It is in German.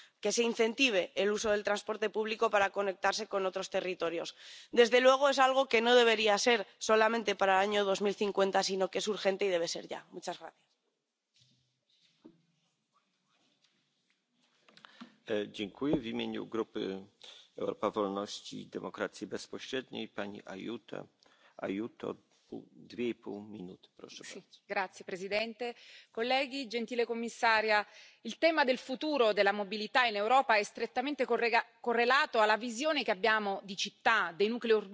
ist der verpflichtende Einbau von sicherheitsrelevanten Fahrerassistenzsystemen. Sie können das menschliche Fehlverhalten, welches für circa 92 Prozent der Unfälle verantwortlich ist, ausgleichen. Ein weiterer Schritt besteht in der Schaffung einer Infrastruktur, welche flächendeckend Ladesäulen für nachhaltige Kraftstoffe umfasst. Zudem muss diese Infrastruktur eine Kommunikation mit den Fahrzeugen ermöglichen, vor allem in einer Übergangsphase auf dem Weg zur nächsten Automatisierungsstufe.